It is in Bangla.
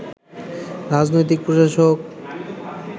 রাজনৈতিক প্রশাসক